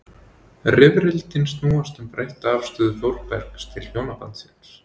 Rifrildin snúast um breytta afstöðu Þórbergs til hjónabandsins.